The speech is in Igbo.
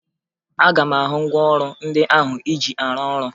Aga m ahụ ngwaọrụ ndị ahụ ị ji arụ ọrụ